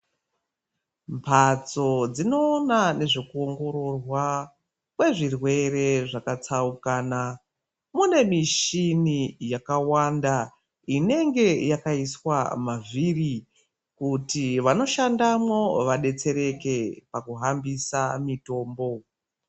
Mbatso dzinoona nezvekuongororwa kwezvirwere zvakatsaukana mune mishini yakawanda inenge yaiswa mavhiri kuti vanoshandamo vadetsereke pakuhambisa mitombo.